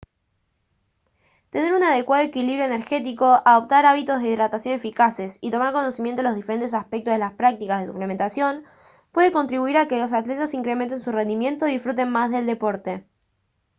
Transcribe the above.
tener un adecuado equilibrio energético adoptar hábitos de hidratación eficaces y tomar conocimiento de los diferentes aspectos de las prácticas de suplementación puede contribuir a que los atletas incrementen su rendimiento y disfruten más del deporte